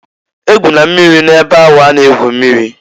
E gwụna mmiri na-ebe ahụ a na-egwu mmiri!